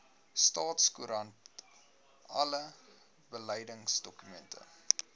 staatskoerant alle beleidsdokumente